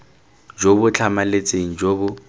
jo bo tlhamaletseng jo bo